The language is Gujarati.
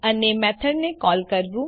અને મેથડ ને કોલ કરવું